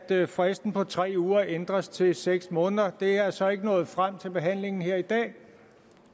at fristen på tre uger ændres til seks måneder det er så ikke nået frem til behandlingen her i dag